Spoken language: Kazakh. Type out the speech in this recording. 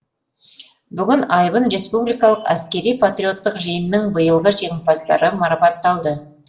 бүгін айбын республикалық әскери патриоттық жиынының биылғы жеңімпаздары марапатталды